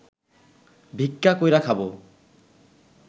ভিক্ষা কইরা খাব